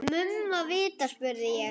Mumma vita, spurði ég.